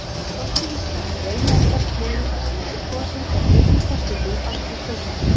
Forseti Íslands er eini embættismaður ríkisins sem kosinn er beinni kosningu allra kjósenda.